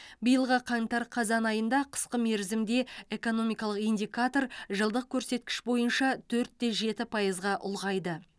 биылғы қаңтар қазан айында қысқа мерзімді экономикалық индикатор жылдық көрсеткіш бойынша төртте жеті пайызға ұлғайды